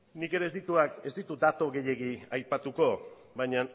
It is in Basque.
nik ere ez ditut datu gehiago aipatuko baina